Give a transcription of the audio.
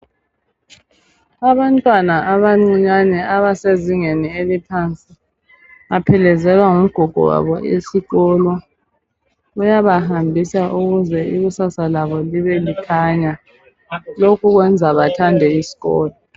Abantwana abancinyane abasezingeni eliphansi baphelekezelwa ngugogo wabo esikolo uyabahambisa ukuze ikusasa labo libe likhanya lokhu kuyenza bathande isikolo.